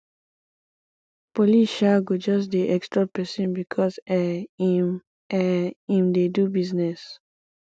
police um go just dey extort pesin because um im um im dey do business